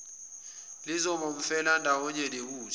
lizoba umfelandawonye nebutho